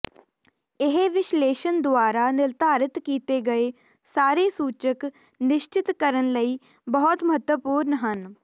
ਇਹ ਵਿਸ਼ਲੇਸ਼ਣ ਦੁਆਰਾ ਨਿਰਧਾਰਤ ਕੀਤੇ ਗਏ ਸਾਰੇ ਸੂਚਕ ਨਿਸ਼ਚਤ ਕਰਨ ਲਈ ਬਹੁਤ ਮਹੱਤਵਪੂਰਨ ਹਨ